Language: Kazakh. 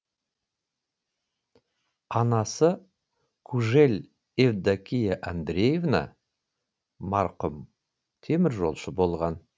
анасы кужель евдокия андрөевна марқұм теміржолшы болған